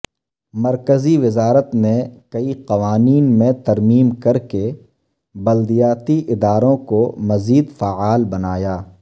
مرکزی وزارت نے کئی قوانین میں ترمیم کرکے بلدیاتی اداروں مزید فعال بنایا